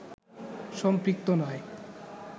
সম্পৃক্ত নয়